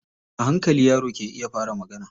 A hankali yaro ke iya fara magana.